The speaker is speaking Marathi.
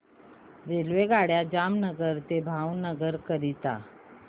रेल्वेगाड्या जामनगर ते भावनगर करीता